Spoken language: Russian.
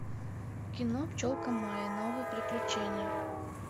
кино пчелка майя новые приключения